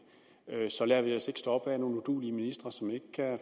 lader vi os stoppe af nogle uduelige ministre som ikke kan